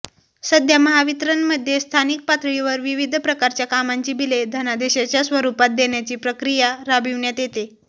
सध्या महावितरणमध्ये स्थानिक पातळीवर विविध प्रकारच्या कामांची बिले धनादेशच्या स्वरूपात देण्याची प्रक्रिया राबविण्यात येते